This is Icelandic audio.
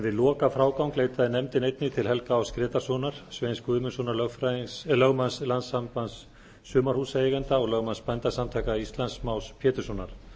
við lokafrágang leitaði nefndin einnig til helga áss grétarssonar sveins guðmundssonar lögmanns landssambands sumarhúsaeigenda og lögmanns bændasamtaka íslands más péturssonar